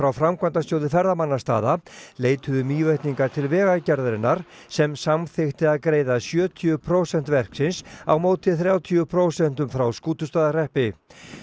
Framkvæmdasjóði ferðamannastaða leituðu Mývetningar til Vegagerðarinnar sem samþykkti að greiða sjötíu prósent verksins á móti þrjátíu prósentum frá Skútustaðahreppi